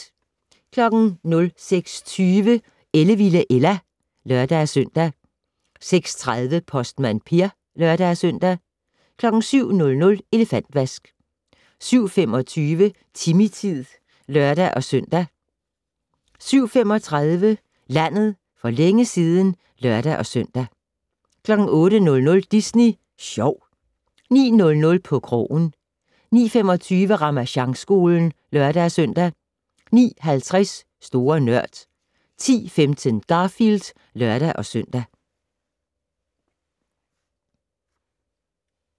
06:20: Ellevilde Ella (lør-søn) 06:30: Postmand Per (lør-søn) 07:00: Elefantvask 07:25: Timmy-tid (lør-søn) 07:35: Landet for længe siden (lør-søn) 08:00: Disney Sjov 09:00: På krogen 09:25: Ramasjangskolen (lør-søn) 09:50: Store Nørd 10:15: Garfield (lør-søn)